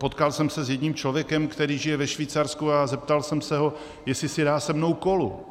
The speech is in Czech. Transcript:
Potkal jsem se s jedním člověkem, který žije ve Švýcarsku, a zeptal jsem se ho, jestli si dá se mnou kolu.